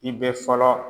I bɛ fɔlɔ